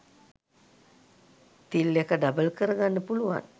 තිල් එක ඩබල් කරගන්න පුළුවන්.